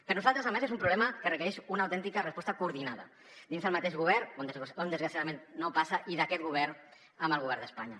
per nosaltres a més és un problema que requereix una autèntica resposta coordinada dins del mateix govern on desgraciadament no passa i d’aquest govern amb el govern d’espanya